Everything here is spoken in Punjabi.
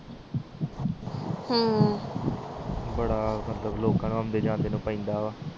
ਬੜਾ ਮਤਲਬ ਲੋਕ ਨੂੰ ਜਾਕੇ ਪੈਂਦਾ ਵਾ